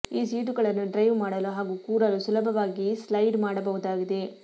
ಈ ಸೀಟುಗಳನ್ನು ಡ್ರೈವ್ ಮಾಡಲು ಹಾಗೂ ಕೂರಲು ಸುಲಭವಾಗಿ ಸ್ಲೈಡ್ ಮಾಡಬಹುದಾಗಿದೆ